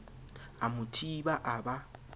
a mo thiba a ba